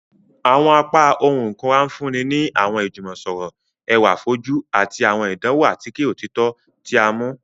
Awọn apá ohùn ikunra nfunni ni awọn ijumọsọrọ ẹwa fojú ati awọn ìdánwò atike òtítọ ti a ti mu.